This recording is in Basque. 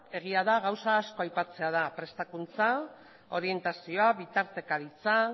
egia da gauza asko aipatzea dela prestakuntza orientazioa bitartekaritza